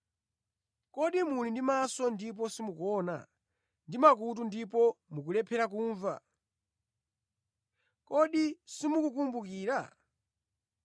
Kodi muli ndi maso ndipo simukuona, ndi makutu ndipo mukulephera kumva? Kodi simukukumbukira?